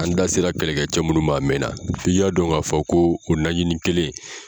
An da sera kɛlɛkɛ cɛ munnu ma a mɛnna, fii ka dɔn k'a fɔ ko o najini kelen.